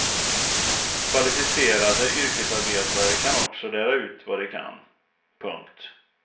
Kvalificerade yrkesarbetare kan också lära ut vad de kan. punkt